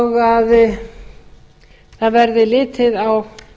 og að það verði litið á